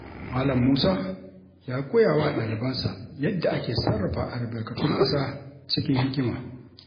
Malam Musa ya koya wa ɗalibansa yadda ake sarrafa albarkatun ƙasa cikin hikima.